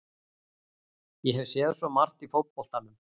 Ég hef séð svo margt í fótboltanum.